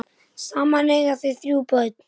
Saman eiga þau þrjú börn.